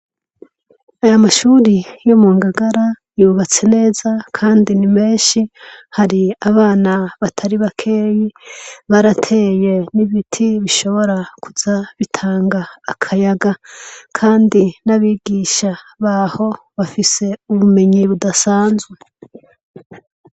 Aya mashuri yo mu Ngagara yubatse neza, Kandi ni menshi har'abana batari bakeyi, barateye n'ibiti bishobora kuza bitanga akayaga. Kandi n'abigisha baho bafise ubumenyi budasanzwe.